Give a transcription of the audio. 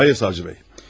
Xeyr, prokuror bəy.